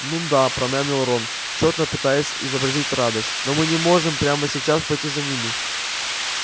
н-да промямлил рон тщетно пытаясь изобразить радость но мы не можем прямо сейчас пойти за ними